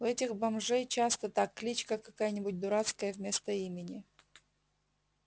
у этих бомжей часто так кличка какая-нибудь дурацкая вместо имени